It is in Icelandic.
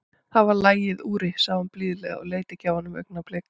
Það var lagið, Úri, sagði hún blíðlega og leit ekki af honum augnablik.